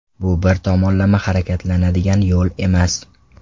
Bu bir tomonlama harakatlanadigan yo‘l emas.